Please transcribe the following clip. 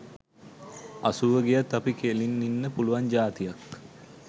අසූව ගියත් අපි කෙළින් ඉන්න පුළුවන් ජාතියක්.